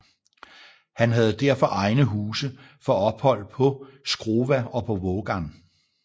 Han havde derfor egne huse for ophold på Skrova og på Vågan